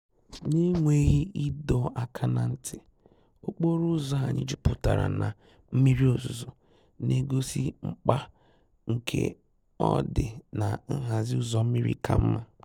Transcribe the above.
N’énwéghí ìdọ́ àká ná ntí, ókpóró ụ́zọ́ụ̀ ànyị́ júpụ́tàrá ná mmírí òzúzó, n’égósí mkpá nké ọ́ dị́ ná nhází ụ́zọ́ mmírí ká mmá.